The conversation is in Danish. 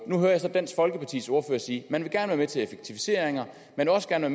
nu hører jeg så dansk folkepartis ordfører sige at man gerne til effektiviseringer at man også gerne